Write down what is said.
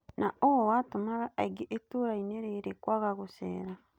Na ũũ watũmaga aingĩ itũrainĩ rĩrĩ kwaga gũcera.